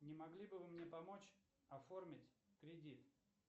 не могли бы вы мне помочь оформить кредит